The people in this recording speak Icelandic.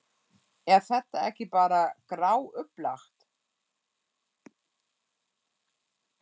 Er þetta ekki bara gráupplagt?